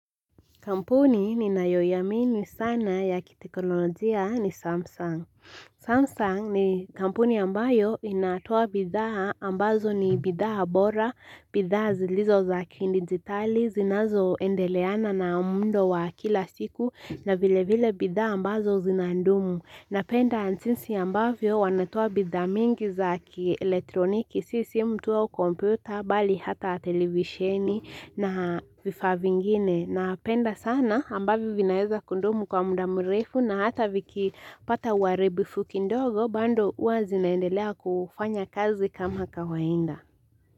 Kampuni ninayoiamini sana ya kitekonolojia ni Samsung. Samsung ni kampuni ambayo inatoa bidhaa ambazo ni bidhaa bora, bidhaa zilizo za kidigitali, zinazoendeleana na muundo wa kila siku na vile vile bidhaa ambazo zinandumu. Napenda jinsi ambavyo wanatoa bidhaa mingi za kielektroniki, si simu tu au kompyuta, bali hata televisheni na vifaa vingine. Napenda sana ambavyo vinaeza kudumu kwa muda murefu na hata vikipata uharibifu kidogo bado hua zinaendelea kufanya kazi kama kawaida.